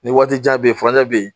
Nin waati jan be yen furancɛ be yen.